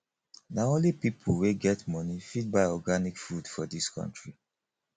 na only pipo wey get moni fit buy organic food for dis country